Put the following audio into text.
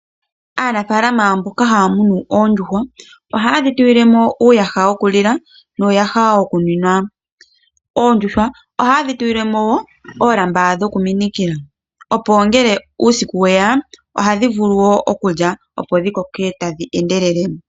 Aanafaalama mboka haya munu oondjuhwa, ohaye dhitulilemo uuyaha wokulila nuuyaha wokunwina. Oondjuhwa ohaye dhitulilemo wo oolamba dhokuminikila opo ngele uusiku weya ohadhi vulu wo okulya opo dhikoke tadhi endelele.